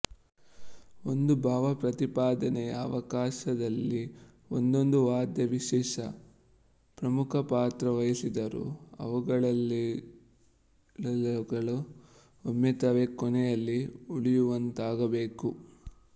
ಒಂದು ಭಾವಪ್ರತಿಪಾದನೆಯ ಅವಕಾಶದಲ್ಲಿ ಒಂದೊಂದು ವಾದ್ಯ ವಿಶೇಷ ಪ್ರಮುಖಪಾತ್ರವಹಿಸಿದರೂ ಅವುಗಳೆಲ್ಲವುಗಳ ಒಮ್ಮತವೇ ಕೊನೆಯಲ್ಲಿ ಉಳಿಯುವಂತಾಗಬೇಕು